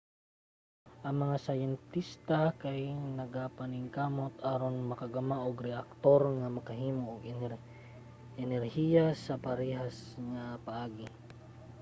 ang mga siyentista kay nagapaningkamot aron makagama og reaktor nga makahimo og energiya sa parehas nga paagi